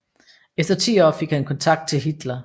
Efter ti år fik han kontakt til Hitler